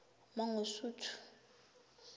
mangosuthu